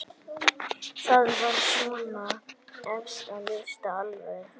Það var svona efst á lista allavega.